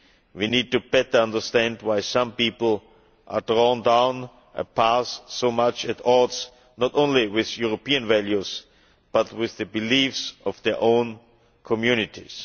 We need to better understand why some people are drawn down a path so much at odds not only with European values, but with the beliefs of their own communities.